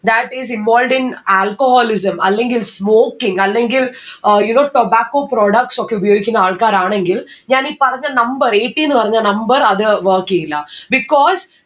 that is involved in alcoholism അല്ലെങ്കിൽ smoking അല്ലെങ്കിൽ uh you know tobacco products ഒക്കെ ഉപയോഗിക്കുന്ന ആൾക്കാരാണെങ്കിൽ ഞാൻ ഈ പറഞ്ഞ number eighty ന്ന്‌ പറഞ്ഞ number അത് work എയില്ല because